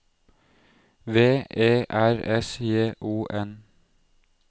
V E R S J O N